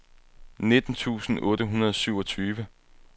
nitten tusind otte hundrede og syvogtyve